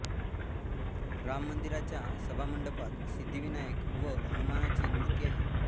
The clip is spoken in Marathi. राम मंदिराच्या सभामंडपात सिद्धिविनायक व हनुमानाची मूर्ती आहे